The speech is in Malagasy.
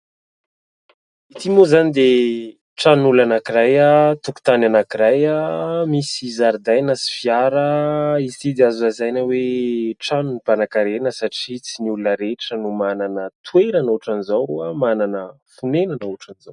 Ity moa izany dia tranon'olona anankiray, tokotany anankiray misy zaridaina sy fiara. Izy ity dia azo lazaina hoe tranon'ny mpanankarena satria tsy ny olona rehetra no manana toerana ohatran'izao, manana fonenana ohatran'izao.